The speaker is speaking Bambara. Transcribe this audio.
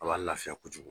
A b'a lafiya kojugu